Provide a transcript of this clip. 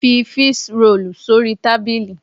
Fi fish roll sórí tábìlì!